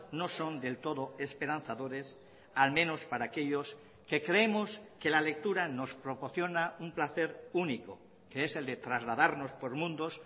no son del todo esperanzadores al menos para aquellos que creemos que la lectura nos proporciona un placer único que es el de trasladarnos por mundos